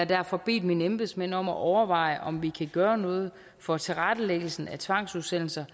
derfor bedt mine embedsmænd om at overveje om vi kan gøre noget for tilrettelæggelsen af tvangsudsendelser